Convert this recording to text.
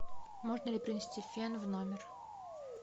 можно ли принести фен в номер